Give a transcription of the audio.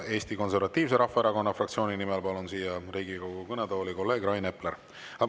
Eesti Konservatiivse Rahvaerakonna fraktsiooni nimel palun siia Riigikogu kõnetooli kolleeg Rain Epleri.